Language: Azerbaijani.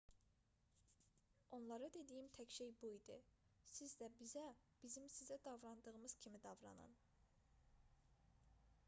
onlara dediyim tək şey bu idi siz də bizə bizim sizə davrandığımız kimi davranın